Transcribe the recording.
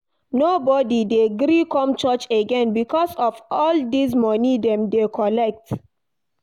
Nobodi dey gree come church again because of all dese moni dem dey collect.